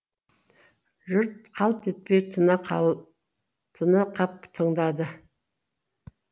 жұрт қалт етпей тына қап тыңдады